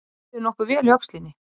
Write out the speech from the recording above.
Mér líður nokkuð vel í öxlinni